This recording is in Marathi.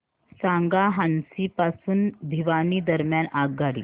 सांगा हान्सी पासून भिवानी दरम्यान आगगाडी